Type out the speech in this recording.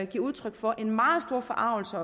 giver udtryk for en meget stor forargelse